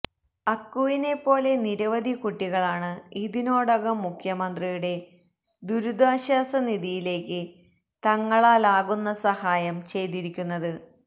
അക്കുവിനെപ്പോലെ നിരവധി കുട്ടികളാണ് ഇതിനോടകം മുഖ്യമന്ത്രിയുടെ ദുരിതാശ്വാസ നിധിയിലേക്ക് തങ്ങളാല് ആകുന്ന സഹായം ചെയ്തിരിക്കുന്നത്